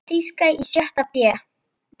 Þýska í sjötta bé.